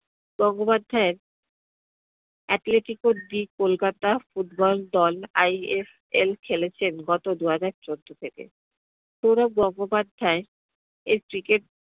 গঙ্গোপাধ্যাইয়ের Atletico de kolkata football দল ISL খেলেছেন গত দুহাজার চোদ্দ থেকে। সৌরভ গঙ্গোপাধ্যায় এর cricket